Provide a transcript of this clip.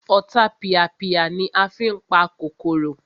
Ọ̀tapìàpìà ni a fí n pa kòkòrò